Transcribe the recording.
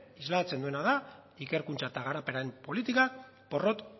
islatzen duena da ikerkuntza eta garapenaren politikak porrot